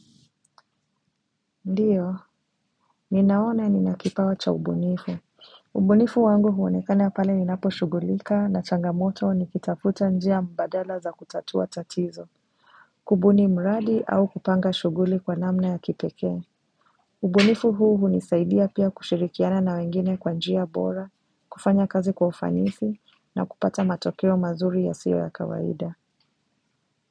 Ndiyo, ninaona nina kipawa cha ubunifu ubunifu wangu huonekane pale ninapo shugulika na changamoto nikitafuta njia mbadala za kutatua tatizo kubuni mradi au kupanga shuguli kwa namna ya kipeke ubunifu huu hunisaidia pia kushirikiana na wengine kwa njia bora, kufanya kazi kwa ufanisi na kupata matokeo mazuri ya sio ya kawaida.